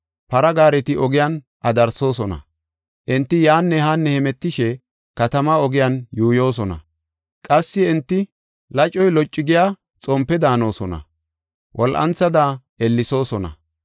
Para gaareti ogiyan adarsoosona; enti yaanne haanne hemetishe katamaa ogiyan yuuyosona. Qassi enti lacoy loccu giya xompe daanosona; wol7anthada ellesoosona.